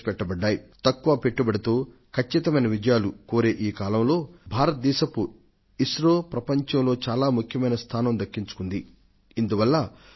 I S R O తక్కువ వ్యయంతో విజయాలకు పూచీ పడుతూ ప్రపంచంలో తనకంటూ ఒక ప్రత్యేక స్థానాన్ని సృష్టించుకోవడమూ ఎన్నదగ్గదే